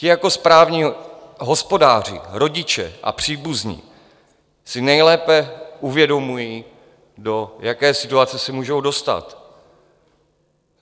Ti jako správní hospodáři, rodiče a příbuzní si nejlépe uvědomují, do jaké situace se můžou dostat.